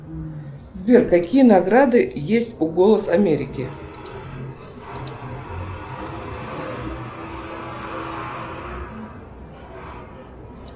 сбер какие награды есть у голос америки